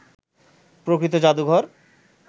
প্রকৃত জাদুঘর